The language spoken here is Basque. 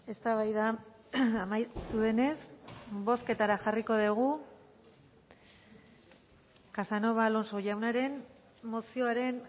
eztabaida amaitu denez bozketara jarriko dugu casanova alonso jaunaren mozioaren